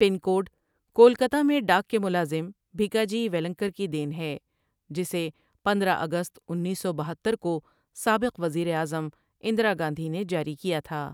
پن code Kolkata میں ڈاک کے ملازم بھیکاجی ویلنکر کی دین ہے جسے پندرہ اگست انیس سو بہتر کو سابق وزیر اعظم اندرا گاندھی نے جاری کیا تھا ۔